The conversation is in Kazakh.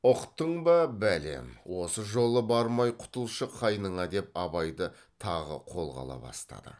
ұқтың ба бәлем осы жолы бармай құтылшы қайныңа деп абайды тағы қолға ала бастады